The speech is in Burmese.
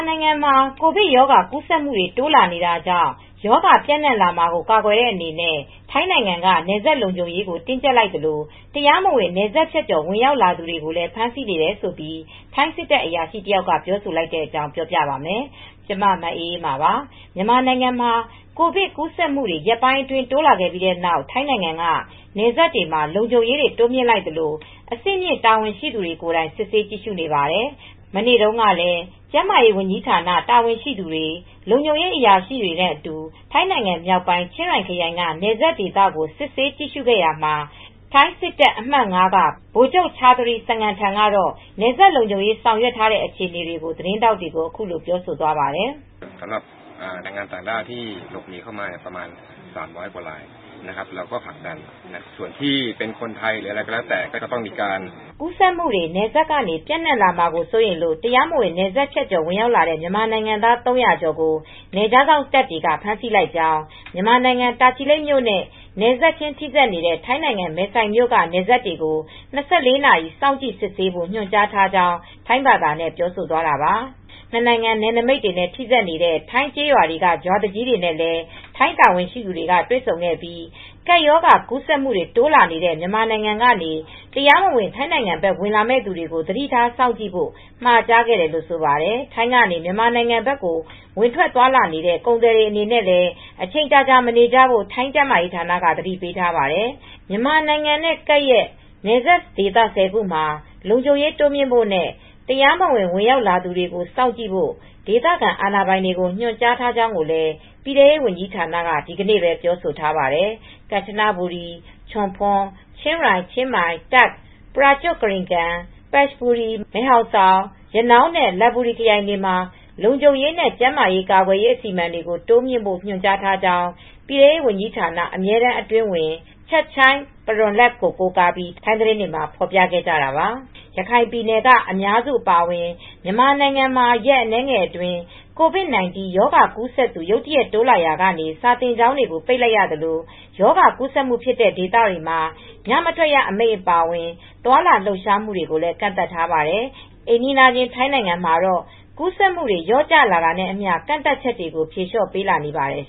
နိုင်ငံမှာ ကိုဗစ်ရောဂါကူးစက်မှုတွေ တိုးလာနေတာကြောင့် ရောဂါပျံ့နှံ့လာမှာကို ကာကွယ်တဲ့အနေနဲ့ ထိုင်းနိုင်ငံက နယ်စပ်လုံခြုံရေးကို တင်းကြပ်လိုက်သလို တရားမဝင်နယ်စပ်ဖြတ်ကျော် ဝင်ရောက်သူတွေကိုလည်း ဖမ်းဆီးနေတယ်လို့ ထိုင်းစစ်တပ်အရာရှိ တယောက်က ပြောဆိုလိုက်တဲ့အကြောင်း ပြောပြပါမယ်။ ဗွီအိုအေမြန်မာပိုင်းသတင်းထောက် မအေးအေးမာက သတင်းပေးပို့ထားပါတယ်။ မြန်မာနိုင်ငံမှာ ကိုဗစ်ကူးစက်မှုတွေ ရက်ပိုင်းအတွင်း တိုးလာခဲ့ပြီးနောက် ထိုင်းနိုင်ငံက နယ်စပ်တွေမှာ လုံခြုံရေးတွေ တိုးမြှင့်လိုက်သလို အဆင့်မြင့် တာဝန်ရှိသူတွေ ကိုယ်တိုင် စစ်ဆေးကြည့်ရှုနေပါတယ်။ မနေ့တုန်းကလည်း ကျန်းမာရေးဝန်ကြီးဌာန တာဝန်ရှိသူတွေ လုံခြုံရေးအရာရှိတွေနဲ့အတူ ထိုင်းနိုင်ငံမြောက်ပိုင်း ချင်းရိုင်ခရိုင်က နယ်စပ်ဒေသကို စစ်ဆေးကြည့်ရှုခဲ့ရာမှာထိုင်းစစ်တပ် အမှတ် ၅ က ဗိုလ်ချုပ် ချာသရီ စငန်ထန် ကတော့ နယ်စပ်လုံခြုံရေး ဆောင်ရွက်ထားတဲ့ အခြေအနေကို သတင်းထောက်တွေကို အခုလိုပြောသွးပါတယ်။ ကူးစက်မူတွေ နယ်စပ်ကနေ ပျံ့နှံ့လာမှာ စိုးရိမ်လို့ တရားမဝင် နယ်စပ်ဖြတ်ကျော်ဝင်ရောက်လာတဲ့ မြန်မာနိုင်ငံသား ၃၀၀ ကျော်ကို နယ်ခြားစောင့်တပ်တွေက ဖမ်းဆီးလိုက်ကြောင်း၊ မြန်မာနိုင်ငံတာချီလိပ်မြို့နဲ့ နယ်စပ်ချင်းထိစပ်နေတဲ့ ထိုင်းနိုင်ငံ မယ်ဆိုင်မြို့နယ်က နယ်စပ်တွေကို ၂၄နာရီ စောင့်ကြည့်စစ်ဆေးဖိ့ု ညွှန်ကြားထားကြောင်း ထိုင်းဘာသာနဲ့ ပြောဆိုသွားတာပါ။ နှစ်နိုင်ငံ နယ်နမိတ်နဲ့ထိစပ်နေတဲ့ ထိုင်း ကျေးရွာတွေက ရွာသူကြီးတွေနဲ့လည်း ထိုင်းတာဝန်ရှိသူတွေ တွေ့ဆုံခဲ့ပြီး ကပ်ရောဂါကူးစက်မှုတွေ တိုးလာနေတဲ့ မြန်မာနိုင်ငံကနေ တရားမဝင် ထိုင်းနိုင်ငံဘက် ဝင်လာမယ့်သူတွေကို သတိထားစောင့်ကြည့်ဖို့ မှာကြားခဲ့တယ်လို့လည်း ဆိုပါတယ်။ ထိုင်းကနေ မြန်မာနိုင်ငံဘက်ကို ဝင်ထွက်သွားလာနေတဲ့ ကုန်သည်တွေအနေနဲ့လည်း အချိန်ကြာကြာမနေကြဖို့ ထိုင်းကျန်းမာရေးဌာနက သတိပေးထားပါတယ်။ မြန်မာနိုင်ငံနဲ့ ကပ်လျက်နယ်စပ်ဒေသ ၁၀ ခုမှာ လုံခြုံရေးတိုးမြှင့်ဖို့နဲ့ တရားမဝင် ဝင်ရောက်သူတွေကို စောင့်ကြည့်ဖို့ ဒေသခံအာဏာပိုင်တွေကို ညွှန်ကြားထားကြောင်းလည်း ပြည်ထဲရေးဝန်ကြီးဌာနက ဒီနေ့ပဲ ပြောဆိုထားပါတယ်။ ကန်ချနဘူရီ၊ ချွန်ဖွန်၊ ချင်းရိုင်၊ ချင်းမိုင်၊ တပ်ခ်၊ ပရာုကျွတ်ခရီခန်၊ ပတ်ဘူရီ၊ မယ်ဟောင်ဆောင်၊ ရနောင်းနဲ့ လတ်ဘူရီခရိုင်တွေမှာ လုံခြုံရေးနဲ့ ကျန်းမာရေး ကာကွယ်ရေး အစီအမံတွေကို တိုးမြှင့်ဖို့ ညွှန်ကြားထားကြောင်း ပြည်ထဲရေးဝန်ကြီးဌာန အမြဲတမ်းအတွင်းဝန် ချတ်ချိုင် ဖရွန်လတ် ကို ကိုးကားပြီး ထိုင်းသတင်းတွေမှာ ဖော်ပြခဲ့ကြတာပါ။ ရခိုင်ပြည်နယ်က အများစုအပါအဝင် မြန်မာနိုင်ငံမှာ ရက်အနည်းငယ်အတွင်း COVID-19 ရောဂါ ကူးစက်သူ ရုတ်တရက် တိုးလာရာက စာသင်ကျောင်းတွေကို ပိတ်လိုက်ရသလို ရောဂါကူးစက်မှုဖြစ်တဲ့ ဒေသတွေမှာ ညမထွက်ရ အမိန့်အပါအဝင် သွားလာလှုပ်ရှားမှုတွေကိုလည်း ကန့်သတ်ထားပါတယ်။ အိမ်နီးချင်း ထိုင်းနိုင်ငံမှာတော့ ကူးစက်မှုတွေ လျော့ကျလာတာနဲ့အမျှ ကန့်သတ်ချက်တွေကို ဖြေလျှော့ပေးလာနေပါတယ်